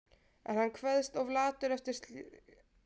En hann kveðst of latur eftir langan vinnudag til að úr slíku verði.